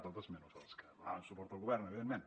tots menys els que donaven suport al govern evidentment